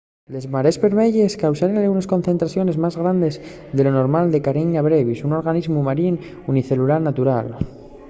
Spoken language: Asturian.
les marees bermeyes cáusenles unes concentraciones más grandes de lo normal de karenia brevis un organismu marín unicelular natural